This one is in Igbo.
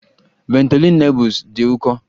Ventolin Nebules dị ụkọ